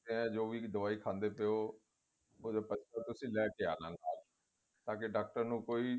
ਜੋ ਵੀ ਦਵਾਈ ਖਾਦੇ ਪਏ ਹੋ ਉਹ ਤੁਸੀਂ ਲੈਕੇ ਆਉਣਾ ਨਾਲ ਤਾਂ ਕੀ ਡਾਕਟਰ ਨੂੰ ਕੋਈ